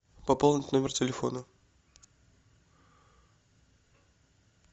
пополнить номер телефона